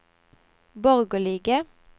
borgerlige